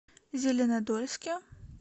зеленодольске